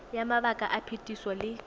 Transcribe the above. ya mabaka a phetiso le